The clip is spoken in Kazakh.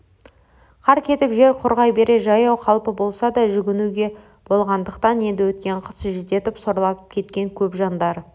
қар кетіп жер құрғай бере жаяу-жалпы болса да жүруге болғандықтан енді өткен қыс жүдетіп сорлатып кеткен көп жандар